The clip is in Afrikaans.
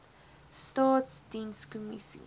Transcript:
staatsdienskommissie